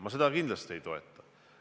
Ma seda kindlasti ei toeta.